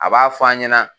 A b'a fɔ an ɲɛna